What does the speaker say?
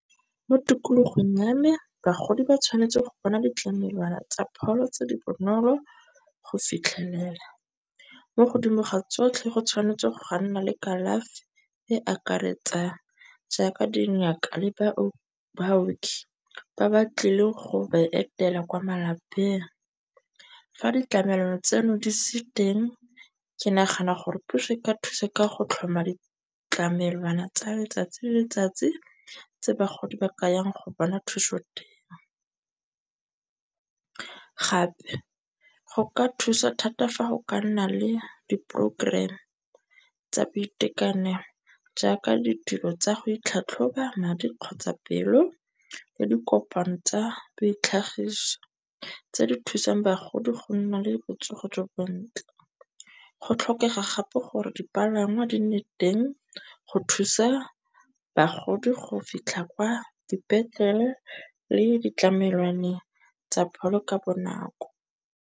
Mo tikologong ya me bagodi ba tshwanetse go bona ditlamelwana tsa pholo tse di bonolo go fitlhelela mo godimo ga tsotlhe go tshwanetse ga nna le kalafi e akaretsang. Jaaka dingaka le baoki ba ba tlileng go ba etela kwa malapeng. Fa ditlamelwana tseno di se teng, ke nagana gore puso e ka thusa ka go tlhoma ditlamelwana tsa letsatsi le letsatsi tse bagodi ba ka yang go bona thuso teng. Gape go ka thusa thata fa go ka nna le di program tsa boitekanelo, jaaka ditiro tsa go itlhatlhoba, madi kgotsa pelo le dikopano tsa bo ditlhagiso tse di thusang bagodi go nna le botsogo jo bontle. Go tlhokega gape gore dipalangwa di nne teng go thusa bagodi go fitlha kwa dipetlele le ditlamelwane tsa pholo ka bonako.